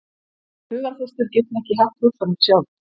Hugarfóstur getur ekki haft hugsanir sjálft.